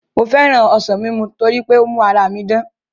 Mo féràn ọsàn ní mímu torí pé ó ń mú ara mi dán